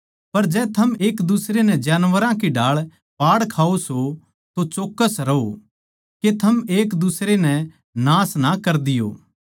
पर जै थम एक दुसरे नै जानवरां की ढाळ पाड़ खाओ सों तो चौक्कस रहो के थम एक दुसरे नै नाश ना कर दियो